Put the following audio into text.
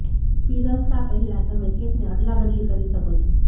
પીરસતાં પહેલાં તમે કેકને અદલાબદલી કરી શકો છો